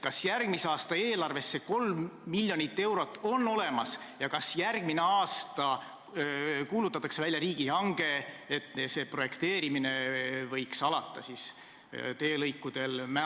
Kas järgmise aasta eelarves on see 3 miljonit eurot olemas ja kas järgmine aasta kuulutatakse välja riigihange, et Mäost edasi teelõikude projekteerimine võiks alata?